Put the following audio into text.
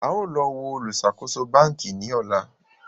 a o lọ wo oluṣakoso banki ni ọla